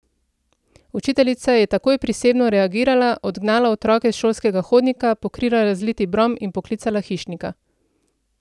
Učiteljica je takoj prisebno reagirala, odgnala otroke s šolskega hodnika, pokrila razliti brom in poklicala hišnika.